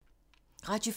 Radio 4